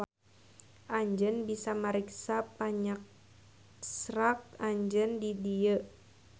Anjeun bisa mariksa panyaksrak anjeun di dieu.